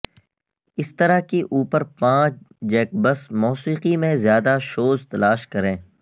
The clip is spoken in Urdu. اس طرح کے اوپر پانچ جیکبکس موسیقی میں زیادہ شوز تلاش کریں